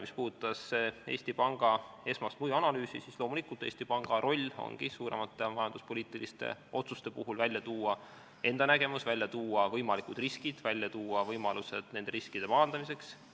Mis puudutab Eesti Panga esmast mõjuanalüüsi, siis Eesti Panga roll ongi tuua suuremate majanduspoliitiliste otsuste puhul välja enda nägemus, võimalikud riskid ja võimalused nende riskide maandamiseks.